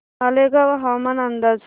मालेगाव हवामान अंदाज